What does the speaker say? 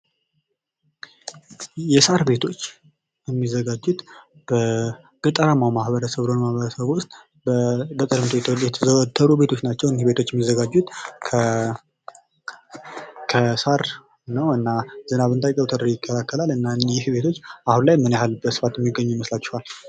የሳር ቤቶች የሚዘጋጁት ገጠራማው በሆነ ማህበረሰብ ዉስጥ በተለየ የተደረደሩ ቤቶች ናቸው። እነዚህ ቤቶች የሚዘጋጁት ከሳር ነው እና ዝናብ እንዳይገባ ተደርጎ ይከላከላል እና እኚህ ቤቶች አሁን ላይ ምን ያህል በስፋት የሚገኙ ይመስላችሗል?